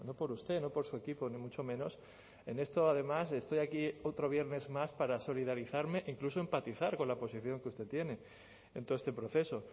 por usted no por su equipo ni mucho menos en esto además estoy aquí otro viernes más para solidarizarme incluso empatizar con la posición que usted tiene en todo este proceso